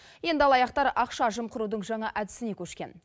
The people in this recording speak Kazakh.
енді алаяқтар ақша жымқырудың жаңа әдісіне көшкен